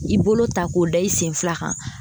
I bolo ta k'o da i sen fila kan